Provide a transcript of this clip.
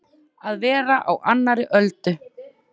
Að vera á annarri öldu